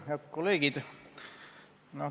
Head kolleegid!